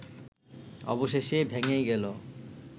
অবশেষে ভেঙেই গেলো